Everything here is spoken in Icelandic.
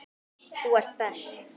Þú ert best.